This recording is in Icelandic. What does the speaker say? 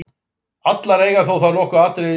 Allar eiga þær þó nokkur atriði sameiginleg.